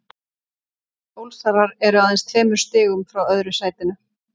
Ólsarar eru aðeins tveimur stigum frá öðru sætinu.